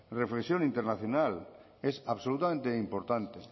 reflexión internacional es absolutamente importante